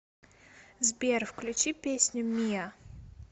сбер включи песню миа